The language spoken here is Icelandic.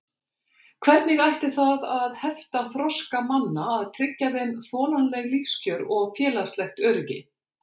Hvernig ætti það að hefta þroska manna að tryggja þeim þolanleg lífskjör og félagslegt öryggi?